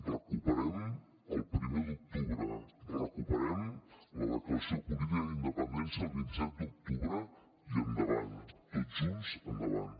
recuperem el primer d’octubre recuperem la declaració política d’independència del vint set d’octubre i endavant tots junts endavant